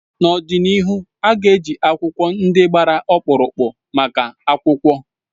N'ọdịnihu a ga-eji akwụkwọ ndị gbara ọkpụrụkpụ maka akwụkwọ.